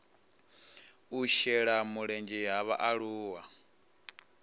u shela mulenzhe ha vhaaluwa